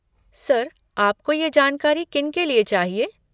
Sir, आपको ये जानकारी किन के लिए चाहिए?